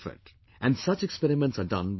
And such experiments are done by many people